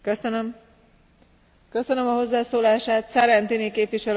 Voorzitter, laat ik dan verder gaan waar mevrouw Vergiat stopte.